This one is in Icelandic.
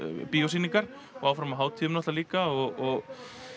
bíósýningar og áfram á hátíðum líka og